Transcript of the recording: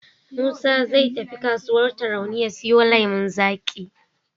Musa zai tafi kasuwar Tarauni ya siyo lemon zaƙi.